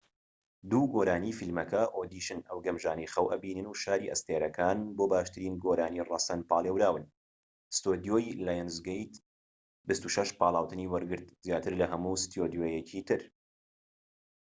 دوو گۆرانی فیلمەکە، ئۆدیشن ئەو گەمژانەی خەو ئەبینن و شاری ئەستێرەکان، بۆ باشترین گۆرانی ڕەسەن پاڵێوران. ستۆدیۆی لایۆنزگەیت 26 پاڵاوتنی وەرگرت - زیاتر لە هەموو ستۆدیۆیەکی تر